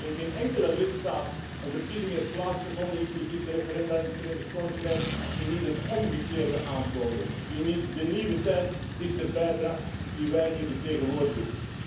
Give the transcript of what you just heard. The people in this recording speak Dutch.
Terwijl in geen enkele lidstaat een verkiezing heeft plaatsgevonden, inclusief de referenda in het Verenigd Koninkrijk, die niet het omgekeerde aantoonde, die niet de nieuwe tijd dichterbij bracht die wij hier vertegenwoordigen.